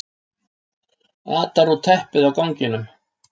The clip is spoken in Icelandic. Atar út teppið á ganginum.